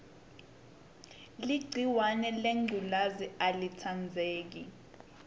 ligciwahe lengculezi alitsandzeki